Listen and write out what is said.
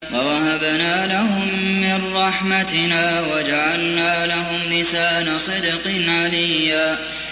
وَوَهَبْنَا لَهُم مِّن رَّحْمَتِنَا وَجَعَلْنَا لَهُمْ لِسَانَ صِدْقٍ عَلِيًّا